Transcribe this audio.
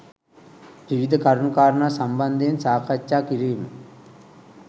විවිධ කරුණු කාරණා සම්බන්ධයෙන් සාකච්ඡා කිරීම